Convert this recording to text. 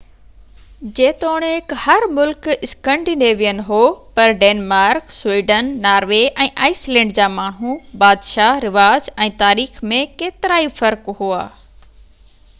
جيتوڻڪ هر ملڪ اسڪينڊينيوين هو پر Denmark Sweden Norway ۽ Iceland جا ماڻهو بادشاه رواج ۽ تاريخ ۾ ڪيترائي فرق ھئا